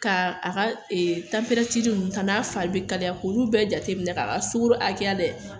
Ka a ka ee a na fari be kalaya , k'olu bɛɛ jateminɛ ka a ka sukoro hakɛya lajɛ .